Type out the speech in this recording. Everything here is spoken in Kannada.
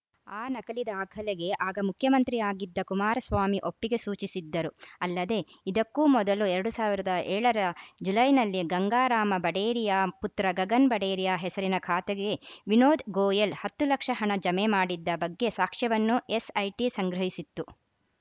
ಆ ನಕಲಿ ದಾಖಲೆಗೆ ಆಗ ಮುಖ್ಯಮಂತ್ರಿಯಾಗಿದ್ದ ಕುಮಾರಸ್ವಾಮಿ ಒಪ್ಪಿಗೆ ಸೂಚಿಸಿದ್ದರು ಅಲ್ಲದೆ ಇದಕ್ಕೂ ಮೊದಲು ಎರಡ್ ಸಾವಿರದ ಏಳ ರ ಜುಲೈನಲ್ಲಿ ಗಂಗಾರಾಮ ಬಡೇರಿಯಾ ಪುತ್ರ ಗಗನ್‌ ಬಡೇರಿಯಾ ಹೆಸರಿನ ಖಾತೆಗೆ ವಿನೋದ್‌ ಗೋಯಲ್‌ ಹತ್ತು ಲಕ್ಷ ಹಣ ಜಮೆ ಮಾಡಿದ್ದ ಬಗ್ಗೆ ಸಾಕ್ಷ್ಯವನ್ನು ಎಸ್‌ಐಟಿ ಸಂಗ್ರಹಿಸಿತ್ತು